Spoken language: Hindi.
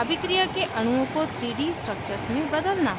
अभिक्रिया के अणुओं को 3 3d structures में बदलना